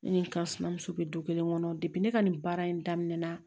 Ne ni n ka sinamuso bɛ du kelen kɔnɔ ne ka nin baara in daminɛna